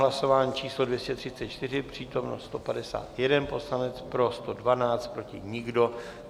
Hlasování číslo 234, přítomen 151 poslanec, pro 112, proti nikdo.